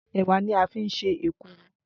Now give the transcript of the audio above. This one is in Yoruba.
Ẹ̀wà ni a fín ṣe èkuru